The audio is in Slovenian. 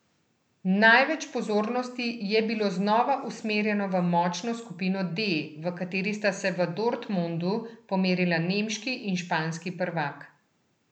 Največ pozornosti je bilo znova usmerjeno v močno skupino D, v kateri sta se v Dortmundu pomerila nemški in španski prvak.